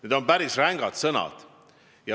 Need on päris rängad sõnad.